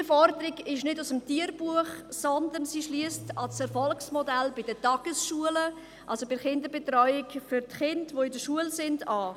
Diese Forderung ist nicht aus dem Tierbuch, sondern sie schliesst an das Erfolgsmodell bei den Tagesschulen, also bei der Betreuung der Kinder in der Schule, an.